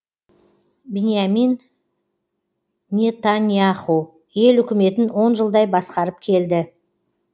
биньямин нетаньяху ел үкіметін он жылдай басқарып келді